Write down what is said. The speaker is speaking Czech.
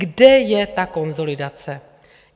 Kde je ta konsolidace?